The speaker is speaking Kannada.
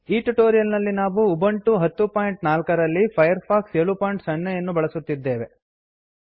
ಈ ಟ್ಯುಟೋರಿಯಲ್ ನಲ್ಲಿ ನಾವು ಉಬಂಟು 1004 ರಲ್ಲಿ ಫೈರ್ಫಾಕ್ಸ್ 70 ಯನ್ನು ಬಳಸುತ್ತಿದ್ದೇವೆ